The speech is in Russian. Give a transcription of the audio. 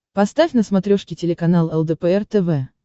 поставь на смотрешке телеканал лдпр тв